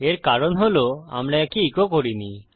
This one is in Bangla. এর কারণ হল আমরা একে ইকো করিনি